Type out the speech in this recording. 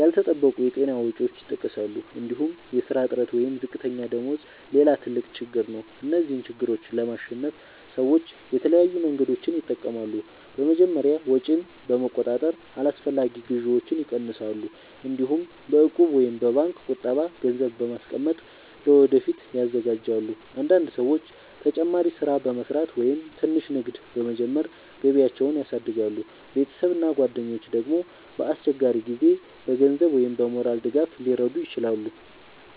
ያልተጠበቁ የጤና ወጪዎች ይጠቀሳሉ። እንዲሁም የሥራ እጥረት ወይም ዝቅተኛ ደመወዝ ሌላ ትልቅ ችግር ነው። እነዚህን ችግሮች ለማሸነፍ ሰዎች የተለያዩ መንገዶችን ይጠቀማሉ። በመጀመሪያ ወጪን በመቆጣጠር አላስፈላጊ ግዢዎችን ይቀንሳሉ። እንዲሁም በእቁብ ወይም በባንክ ቁጠባ ገንዘብ በማስቀመጥ ለወደፊት ይዘጋጃሉ። አንዳንድ ሰዎች ተጨማሪ ሥራ በመስራት ወይም ትንሽ ንግድ በመጀመር ገቢያቸውን ያሳድጋሉ። ቤተሰብ እና ጓደኞች ደግሞ በአስቸጋሪ ጊዜ በገንዘብ ወይም በሞራል ድጋፍ ሊረዱ ይችላሉ።